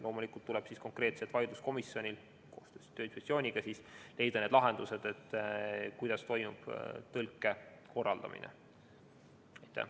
Loomulikult tuleb konkreetsel töövaidluskomisjonil koostöös Tööinspektsiooniga siis leida lahendus, kuidas tõlge korraldatakse.